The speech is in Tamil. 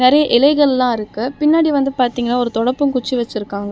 நெறைய இலைகள்லா இருக்கு பின்னாடி வந்து பாதிங்கனா ஒரு தொடப்பம் குச்சி வெச்சிருக்காங்க.